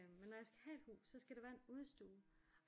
Men når jeg skal have et hus så skal der være en udestue